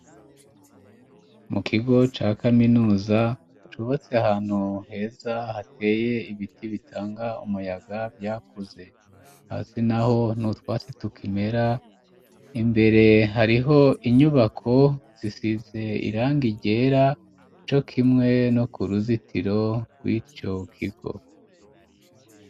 Mu kigo ca kaminuza, cubatse ahantu heza hateye ibiti bitanga umuyaga vyakuze, hasi naho nutwatsi tukimera imbere hariho inyubako zisize irangi ryera ,co kimwe no ku ruzitiro rw'ico kigo.